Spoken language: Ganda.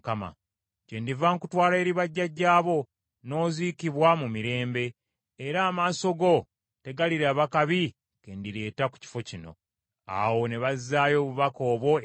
Kyendiva nkutwala eri bajjajjaabo, n’oziikibwa mu mirembe, era amaaso go tegaliraba kabi kendireeta ku kifo kino.’ ” Awo ne bazaayo obubaka obwo eri kabaka.